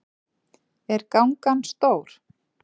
Er gangan stór?